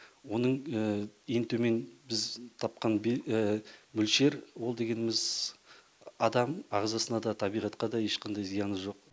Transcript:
оның ең төмен біз тапқан мөлшер ол дегеніміз адам ағзасына да табиғатқа да ешқандай зияны жоқ